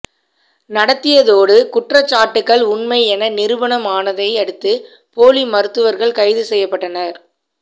நடத்தியதோடு குற்றச்சாட்டுகள் உண்மை என நிரூபணம் ஆனதை அடுத்து போலி மருத்துவர்கள் கைது செய்யப்பட்டனர்